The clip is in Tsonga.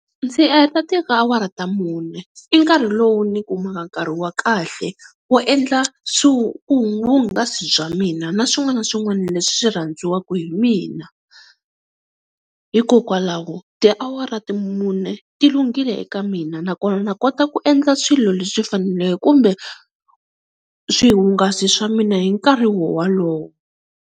Ndzi heta awara ta mune i nkarhi lowu ni kumaka nkarhi wa kahle wo endla swihungasi bya mina na swin'wana na swin'wana leswi swi rhandziwaka hi mina. Hikokwalaho tiawara ta mune ti lunghile eka mina nakona ni kota ku endla swilo leswi faneleke kumbe swihungasi swa mina hi nkarhi wowalowo.